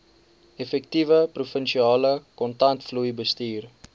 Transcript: effektiewe provinsiale kontantvloeibestuur